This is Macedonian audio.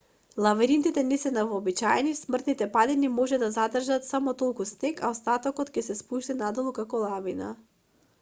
лавините не се невообичаени стрмните падини може да задржат само толку снег а остатокот ќе се спушти надолу како лавина